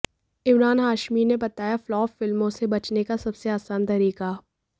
इमरान हाशमी ने बताया फ्लॉप फिल्मों से बचने का सबसे आसान तरीका